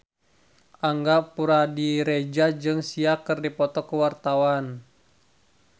Angga Puradiredja jeung Sia keur dipoto ku wartawan